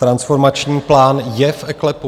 Transformační plán je v eKLEPu.